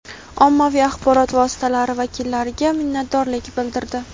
ommaviy axborot vositalari vakillariga minnatdorlik bildirdi.